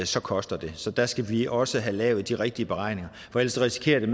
så koster det så der skal vi også have lavet de rigtige beregninger for ellers risikerer vi